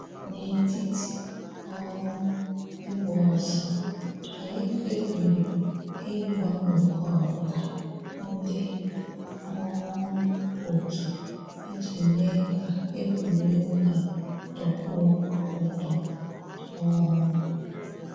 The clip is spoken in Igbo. N'etiti um ịgba ọsọ, anyị kpebiri ịgbanwekọrịta ndị um otu iji mee kaa egwuregwu a tọkwuo ụtọ um